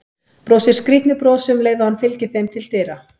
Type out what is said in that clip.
Brosir skrýtnu brosi um leið og hann fylgir þeim til dyra.